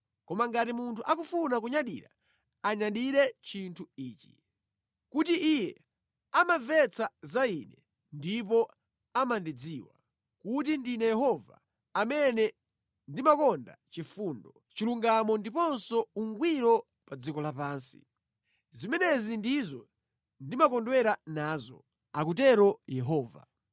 koma ngati munthu akufuna kunyadira, anyadire chinthu ichi: kuti iye amamvetsa za Ine ndipo amandidziwa, kuti ndine Yehova, amene ndimakonda chifundo, chilungamo ndiponso ungwiro pa dziko lapansi. Zimenezi ndizo ndimakondwera nazo,” akutero Yehova.